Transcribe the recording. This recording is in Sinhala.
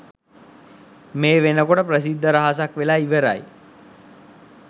මේ වෙනකොට ප්‍රසිද්ධ රහසක් වෙලා ඉවරයි.